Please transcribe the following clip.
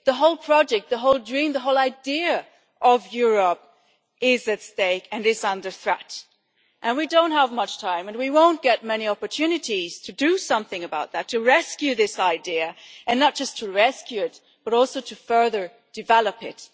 The whole project, the whole dream, the whole idea of Europe is at stake and is under threat. We do not have much time, and we will not get many opportunities to do something about that to rescue this idea, and not just to rescue it, but also to further develop it.